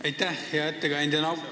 Aitäh, hea ettekandja!